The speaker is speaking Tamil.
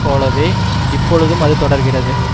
போலவே இப்பொழுதும் அது தொடர்கிறது